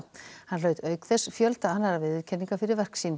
hann hlaut auk þess fjölda annarra viðurkenninga fyrir verk sín